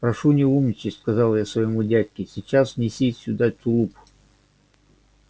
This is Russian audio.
прошу не умничать сказал я своему дядьке сейчас неси сюда тулуп